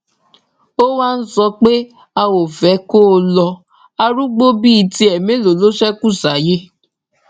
ó wáá ń sọ pé a ò fẹ kó lo arúgbó bíi tiẹ mélòó ló ṣekú sáyé